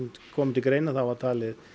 komu til greina þá var talið